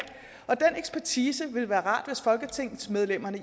og den ekspertise ville det være rart hvis folketingsmedlemmerne